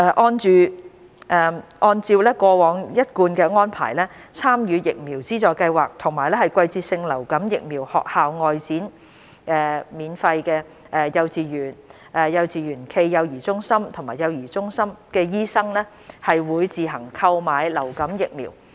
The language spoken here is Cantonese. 按照過往一貫安排，參與疫苗資助計劃及"季節性流感疫苗學校外展─幼稚園、幼稚園暨幼兒中心及幼兒中心"的醫生會自行購買流感疫苗。